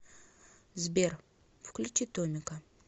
сбер включи томмика